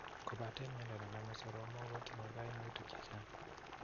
kobate miondo nename soromok kotinye kaimutik chechaang'.